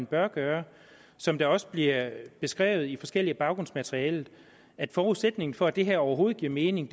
bør gøre som det også bliver beskrevet i forskelligt baggrundsmateriale er forudsætningen for at det her overhovedet giver mening